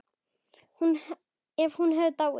Ef hún hefði dáið.